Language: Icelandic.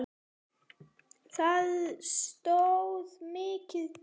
Það stóð mikið til.